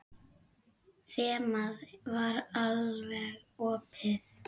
Þemað var alveg opið.